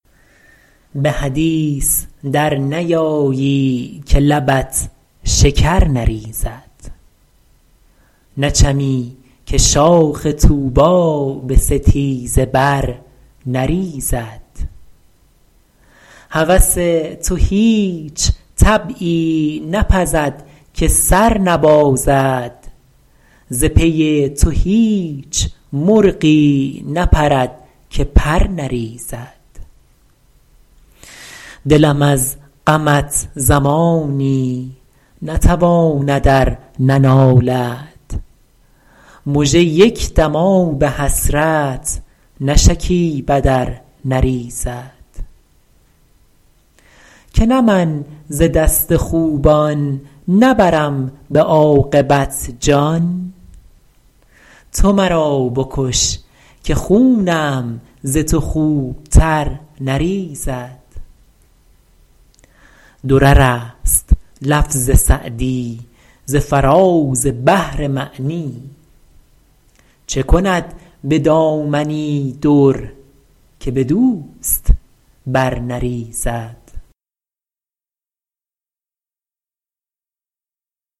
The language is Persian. به حدیث در نیایی که لبت شکر نریزد نچمی که شاخ طوبی به ستیزه بر نریزد هوس تو هیچ طبعی نپزد که سر نبازد ز پی تو هیچ مرغی نپرد که پر نریزد دلم از غمت زمانی نتواند ار ننالد مژه یک دم آب حسرت نشکیبد ار نریزد که نه من ز دست خوبان نبرم به عاقبت جان تو مرا بکش که خونم ز تو خوبتر نریزد درر است لفظ سعدی ز فراز بحر معنی چه کند به دامنی در که به دوست بر نریزد